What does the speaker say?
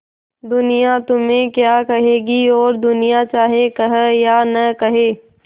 दुनिया तुम्हें क्या कहेगी और दुनिया चाहे कहे या न कहे